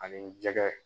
Ani jɛgɛ